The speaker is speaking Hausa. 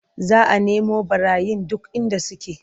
Za a nemu ɓarayin duk inda suke.